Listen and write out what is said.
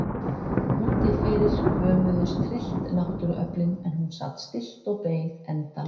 Úti fyrir hömuðust tryllt náttúruöflin en hún sat stillt og beið endalokanna.